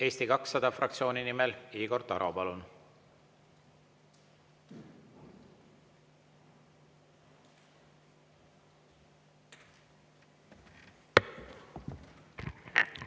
Eesti 200 fraktsiooni nimel Igor Taro, palun!